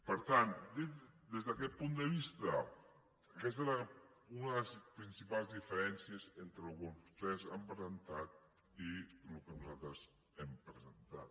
per tant des d’aquest punt de vista aquesta és una de les principals diferències entre el que vostès han presentat i el que nosaltres hem presentat